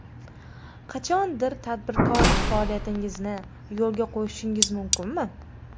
Qachondir tadbirkorlik faoliyatingizni yo‘lga qo‘yishingiz mumkinmi?